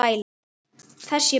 Þess ég bið.